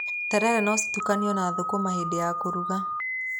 Terere no citukanio na thukuma hĩndĩ ya kũruga.